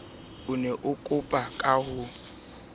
o ne o ka bonafeela